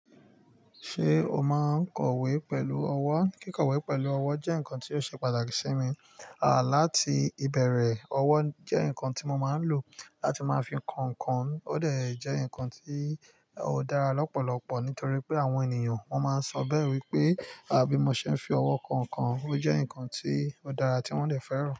Ṣé o máa ń kọ̀wé pẹ̀lú ọwọ́? Kíkọ̀wé pẹ̀lú ọwọ́ jẹ́ nǹkan tó ṣe pàtàkì sí mi, láti ìbẹ̀rẹ̀, ọwọ́ jẹ́ nǹkan tí mo máa ń lò láti máa fi kọ nǹkan, ó dà jẹ́ nǹkan tí ó dára lọ́pọ̀lọpọ̀ nítorí pé àwọn ènìyàn wọn máa ń sọ bẹ́rẹ́ wípé, àbí mo ṣe ń fi ọwọ́ kọ nǹkan ó jẹ́ nǹkan tí ó dára tí wọ́n lè fẹ́ràn.